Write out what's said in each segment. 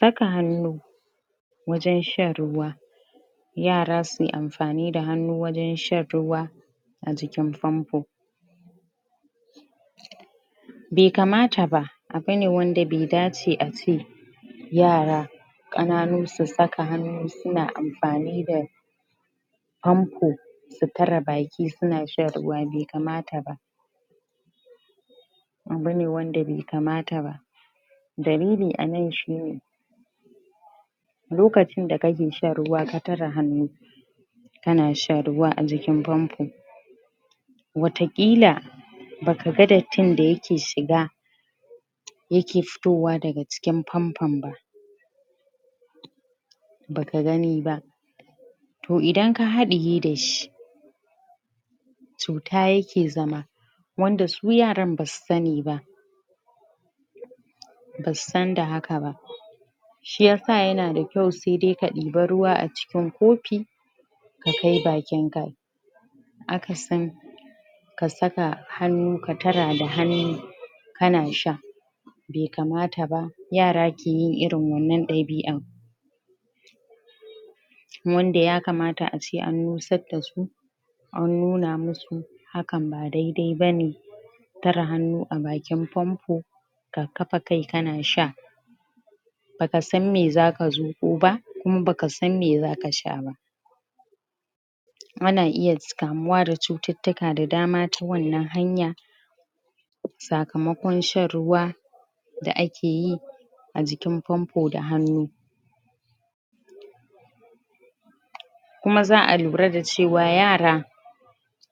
Saka hannu wajan shan ruwa yara suyi anfani da hannu wajan shan ruwa aji kin fanfo bai kamata ba abu ne wanda bai dace ace yara kananu su ta saka hannu suna an fani da hanu ta tare ba ki suna shan ruwa ba kamata ba abu ne wanda bai kamata ba dalili anan shine lokacin da kake shan ruwa su tare hannu kana shan ruwa ajikin wa ta kila ba ka ga dattin da ya ke shiga yake fitowa daga ciki famfon ba ba kagani ba to idan ka haɗiye dashi cuta yake ke zama wanda su yaran basu sani ba basu san da haka ba shiyasa yanada kyau sai dai ka ɗebi ruwa ai cikin kofi ka kai ba kin ka akasin ka saka hannu ka tara da hannu kana sha bai kama taba yara ke yin irin wannan ɗabi'a wanda ya kamata ace an nusar dasu an nuna musu ka ba daidai bane tare hannu a bakin fomfo ka kafa kai kana shaka baka san me zaka zu ƙo ba in ba ka san me zaka sha ba kuma na iya kamuwa da cututtuka da dama ta wannan hanya sakamakon shan ruwa da akeyi ajikin famfo da hannu kuma za'a lura da cewa yara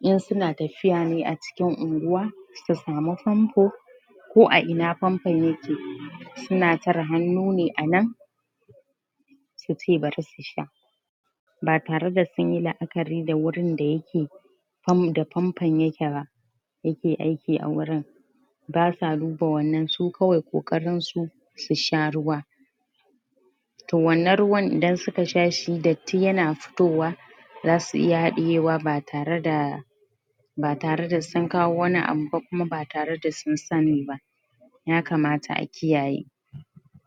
in tsuna taf fiya ne a cikin unguwa su samu famfo ko a ina famfo yake suna tare hannu ne anan suce bari su sha batare da sunyi la'akari da wurin da yake famfo ya keba dake aiki a wurin ba sa duba wannan su kawai kokarin su su sha ruwa to wannan ruwan idan suka sha shi datti yana fitowa zasu iya haɗiyewa ba tare da ba tare da su sun kawo wani abu ba kuma ba tareda su sani ba ya kamata a kiyaye.